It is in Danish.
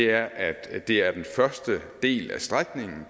er at at det er den første del af strækningen